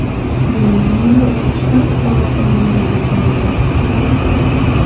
Germaniyada O‘zbekiston fuqarosi balandlikdan qulab, halok bo‘ldi.